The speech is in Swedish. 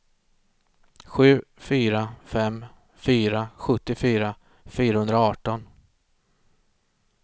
sju fyra fem fyra sjuttiofyra fyrahundraarton